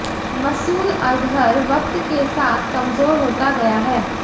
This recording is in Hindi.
मसूद अज़हर वक्त के साथ कमज़ोर होता गया है